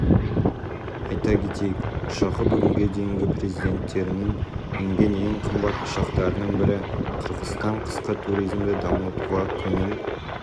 айта кетейік ұшағы бүгінге дейінгі президенттерінің мінген ең қымбат ұшақтарының бірі қырғызстан қысқы туризмді дамытуға көңіл